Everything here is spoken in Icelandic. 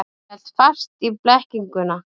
En hélt fast í blekkinguna.